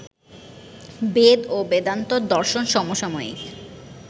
বেদ ও বেদান্ত দর্শন সমসাময়িক